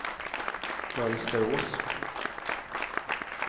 Mönsterås